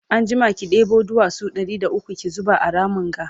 anjima ki ɗebo duwatsu Ɗari da ukwu ki zuba a Ramin ga